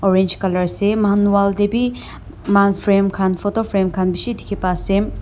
Orange colour ase moihan wall tebeh moihan frame khan photo frame khan beshe dekhe pa ase.